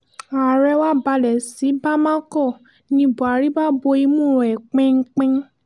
ààrẹ wá balẹ̀ sí bámakọ ní buhari bá bo imú ẹ̀ pinpin